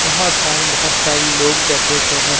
यहां पर बहोत सारे लोग बैठे हुए हैं।